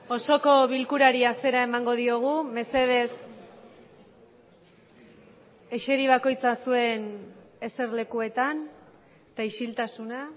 osoko bilkurari hasiera emango diogu mesedez eseri bakoitza zuen eserlekuetan eta isiltasuna